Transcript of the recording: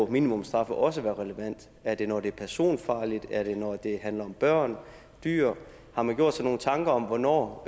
minimumsstraffe også være relevante er det når det er personfarligt er det når det handler om børn dyr har man gjort sig nogle tanker om hvornår